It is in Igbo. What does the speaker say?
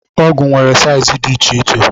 Ọgụ nwere saiz dị iche iche.